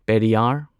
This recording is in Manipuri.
ꯄꯦꯔꯤꯌꯥꯔ